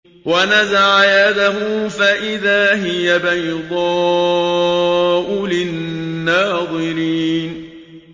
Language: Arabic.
وَنَزَعَ يَدَهُ فَإِذَا هِيَ بَيْضَاءُ لِلنَّاظِرِينَ